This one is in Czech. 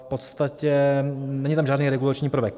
V podstatě tam není žádný regulační prvek.